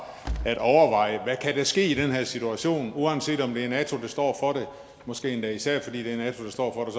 at overveje hvad der kan ske i den her situation uanset om det er nato der står for det måske endda især fordi det er nato der står for